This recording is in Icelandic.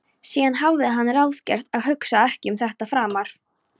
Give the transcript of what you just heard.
Síðan hafði hann ráðgert að hugsa ekki um þetta framar.